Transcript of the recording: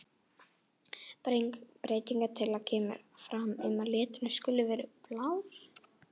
Breytingatillaga kemur fram um að liturinn skuli vera blár.